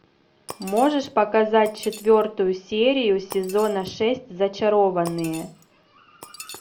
можешь показать четвертую серию сезона шесть зачарованные